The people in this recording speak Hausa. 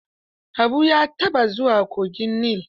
Habu ya taɓa zuwa kogin Nil?